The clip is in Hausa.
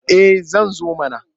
Eh zan zo mana.